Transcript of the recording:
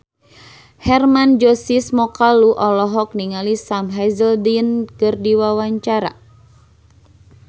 Hermann Josis Mokalu olohok ningali Sam Hazeldine keur diwawancara